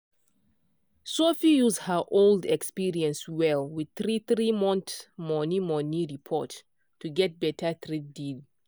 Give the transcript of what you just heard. sophia use her old experience well with "three-three month money" report to get better trade deal.